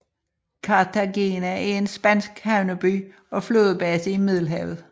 Cartagena er en spansk havneby og flådebase i Middelhavet